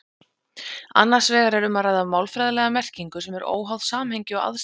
Annars vegar er um að ræða málfræðilega merkingu sem er óháð samhengi og aðstæðum.